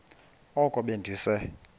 oko be ndise